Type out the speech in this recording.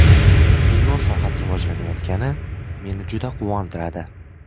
Kino sohasi rivojlanayotgani meni juda quvontiradi.